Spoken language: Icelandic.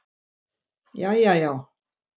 Jæja já.